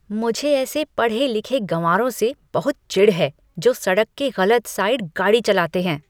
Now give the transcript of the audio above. मुझे ऐसे पढ़े लिखे गँवारों से बहुत चिढ़ है जो सड़क के गलत साइड गाड़ी चलाते हैं।